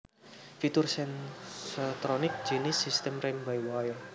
fitur Sensotronic jinis sistem rem by wire